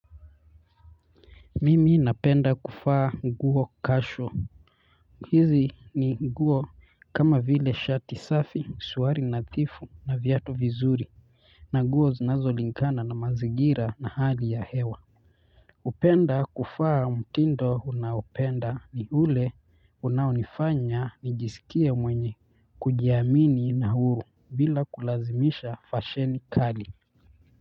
Mimi napenda kuvaa nguo casual hizi ni nguo kama vile shati safi suruali nathifu na viatu vizuri na nguo zinazo lingana na mazingira na hali ya hewa upenda kuvaa mtindo unaopenda ni ule unaonifanya nijisikie mwenye kujiamini na huru bila kulazimisha fasheni kali.